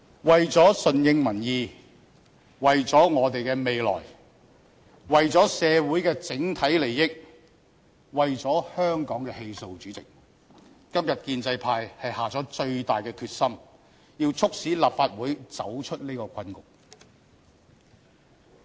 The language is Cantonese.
為了順應民意，為了我們的未來，為了社會的整體利益，為了香港的氣數，主席，今天建制派是下了最大的決心，要促使立法會走出這個困局。